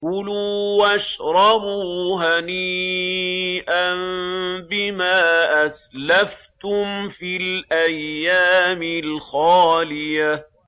كُلُوا وَاشْرَبُوا هَنِيئًا بِمَا أَسْلَفْتُمْ فِي الْأَيَّامِ الْخَالِيَةِ